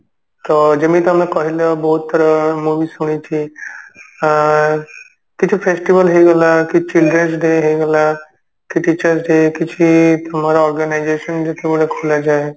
ତ ଯେମିତି ତମେ କହିଲ ବହୁତ ଥର ମୁଁ ବି ଶୁଣିଛି ଆ କିଛି festival ହେଇଗଲା କି children's day ହେଇଗଲା କି teacher's day କିଛି organisation ଯେତେବେଳେ କୁହାଯାଏ